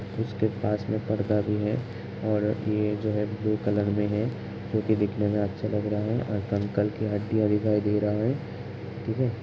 इसके पास में पर्दा भी है और ये जो है ब्लू कलर में है जोकि दिखने में अच्छा लग रहा है और कंकाल के हड्डियां दिखाई दे रहा है। ठीक है --